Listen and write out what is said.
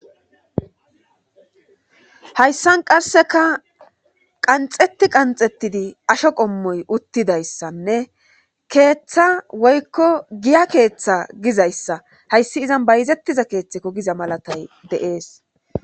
Hayssan qasseka qanxeti qanxettidi asho qommoy uttidayssanne keeththa woykko giya keeththa gizayssa hayssi izan bayzettiza keeththeko giza malatay deees.